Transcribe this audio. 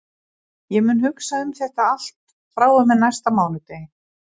Ég mun hugsa um þetta allt frá og með næsta mánudegi.